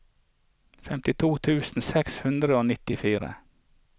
femtito tusen seks hundre og nittifire